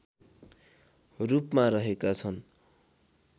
रूपमा रहेका छन्